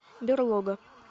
берлога